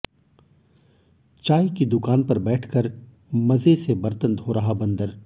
चाय की दुकान पर बैठकर मजे से बर्तन धो रहा बंदर